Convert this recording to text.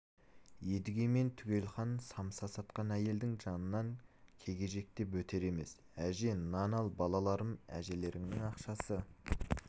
едіге мен түгелхан самса сатқан әйелдің жанынан кегежектеп өтер емес әже нан ал балаларым әжелеріңнің ақшасы